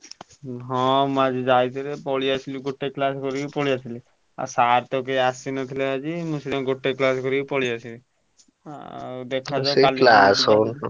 ହୁଁ ହଁ ମୁଁ ଆଜି ଯାଇଥିଲି ପଳେଇଆସିଲି ଗୋଟେ class କରିକି ପଳେଇଆସିଲି ଆଉ sir ତ କେହି ଆସିନଥିଲେ ଆଜି ମୁଁ ସେଇଥିପାଇଁ ଗୋଟେ class କରିକି ପଳେଇଆସିଲି। ଆଉ ଦେଖାଯାଉ, ।